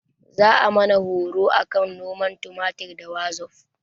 Za ayi mana horo akan noman tumatir ta wazof